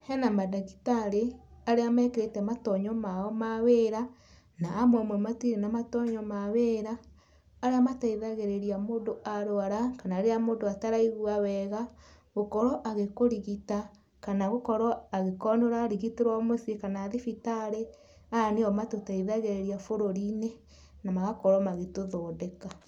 Hena mandagĩtarĩ arĩa mekĩrĩte matonyo mao ma wĩra nao amwe matirĩ na matonyo ma wĩra. Arĩa mateithagĩrĩria mũndũ arwara kana rĩrĩa mũndũ ataraigua wega, gũkorwo agĩkũrigita kana gũkorwo agĩkorwo nĩ ũrarigitĩrwo mũciĩ kana thibitarĩ. Aya nĩo matũteithagĩrĩria bũrũri-inĩ na magakorwo magĩtũthondeka.